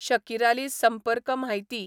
शकिराली संंपर्क म्हायती